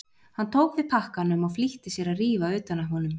Hann tók við pakkanum og flýtti sér að rífa utan af honum.